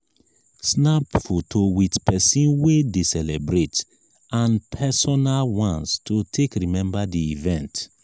snap photo with persin wey de celebrate and personal ones to take remember di event